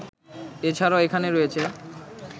এ ছাড়াও এখানে রয়েছে